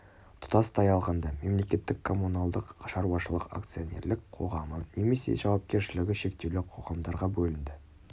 тұтастай алғанда мемлекеттік коммуналдық шаруашылық акционерлік қоғамы немесе жауапкершілігі шектеулі қоғамдарға бөлінді